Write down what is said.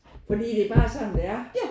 Fordi det er bare sådan det er